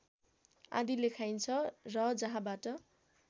आदि लेखाइन्छ र जहाँबाट